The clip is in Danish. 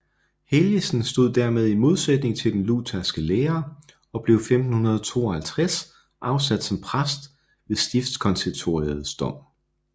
Helgesen stod dermed i modsætning til den lutherske lære og blev 1552 afsat som præst ved stiftskonsistoriets dom